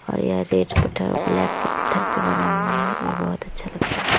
और ये रेड पत्थर और ब्लैक पत्थर से बना हुआ है। ये बोहोत अच्छा लग रहा है।